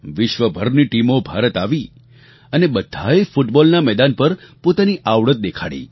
વિશ્વભરની ટીમો ભારત આવી અને બધાએ ફૂટબૉલના મેદાન પર પોતાની આવડત દેખાડી